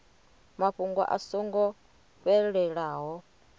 mafhungo a so ngo fhelelaho